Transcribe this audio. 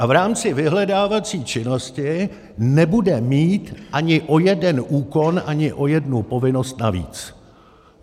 A v rámci vyhledávací činnosti nebude mít ani o jeden úkon, ani o jednu povinnost navíc.